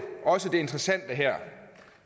også det interessante her